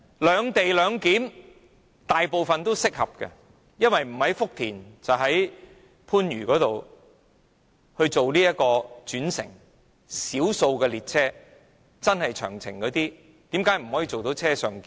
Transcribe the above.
"兩地兩檢"適用於大部分列車乘客，因為他們須在福田或番禺轉乘，而少數長途列車可以做到"車上檢"。